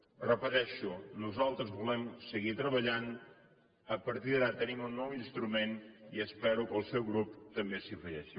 ho repeteixo nosaltres volem seguir treballant a partir d’ara tenim un nou instrument i espero que el seu grup també s’hi afegeixi